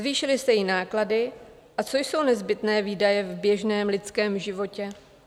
Zvýšily se jí náklady - a co jsou nezbytné výdaje v běžném lidském životě?